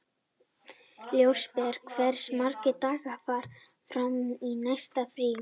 Ljósberi, hversu margir dagar fram að næsta fríi?